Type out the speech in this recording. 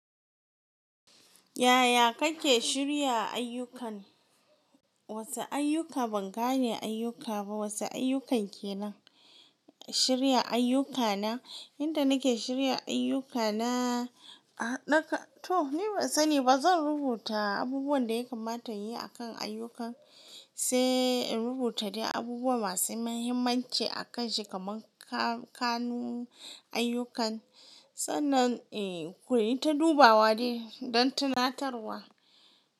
Yaya kake shirya ayyukan? Wasu ayyuka ban gane ayyuka ba. Wasu ayyukan kenan? Shirya ayyukana, inda nake shirya ayyukana, a naga toh ni ban sani ba. Zan rubuta abubuwan da ya kamata in yi akan ayyukan, sai in rubuta dai abubuwa masu muhimmanci a kan shi kaman kanu ayyukan. Sa'annan, eh, kuyi ta dubawa dai don tunatarwa.